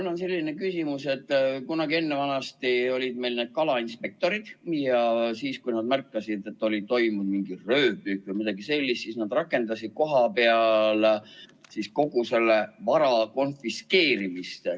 Mul on selline küsimus, et kunagi ennevanasti olid meil kalainspektorid, ja kui nad märkasid, et oli toimunud röövpüük või midagi sellist, siis nad rakendasid kohapeal kogu vara konfiskeerimist.